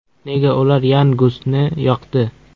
Nega ular Yan Gusni yoqdi?